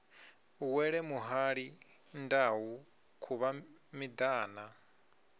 wele muhali ndau khuvha miṱana